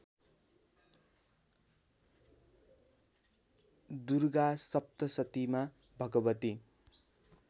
दुर्गा सप्तशतीमा भगवती